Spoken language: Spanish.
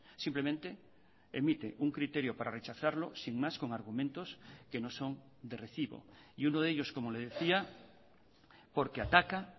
simplemente emite un criterio para rechazarlo sin más con argumentos que no son de recibo y uno de ellos como le decía porque ataca